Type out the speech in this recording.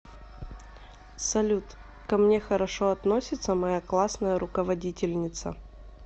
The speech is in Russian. салют ко мне хорошо относится моя классная руководительница